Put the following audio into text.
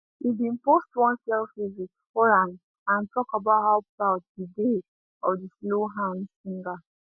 e bin post one selfie with horan and talk about how proud e dey of di slow hands singer